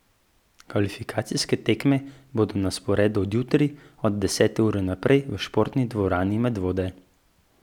Kvalifikacijske tekme bodo na sporedu od jutri, od desete ure naprej, v športni dvorani Medvode.